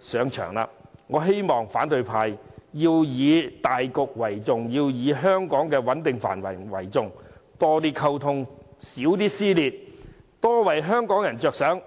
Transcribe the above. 上場，我希望反對派以大局為主，以香港的穩定繁榮為重，多些溝通，少些撕裂，多為香港人着想。